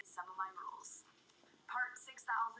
Níels gamli í